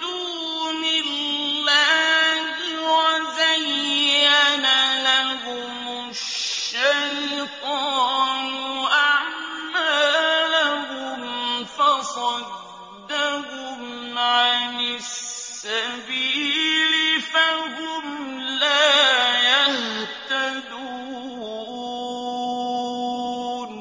دُونِ اللَّهِ وَزَيَّنَ لَهُمُ الشَّيْطَانُ أَعْمَالَهُمْ فَصَدَّهُمْ عَنِ السَّبِيلِ فَهُمْ لَا يَهْتَدُونَ